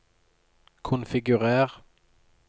konfigurer